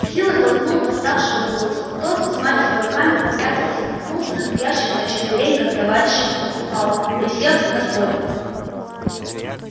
с силой толкнул восставшего в грудь тот взмахивая руками попятился наткнулся на стоящего на четвереньках товарища упал присев на столик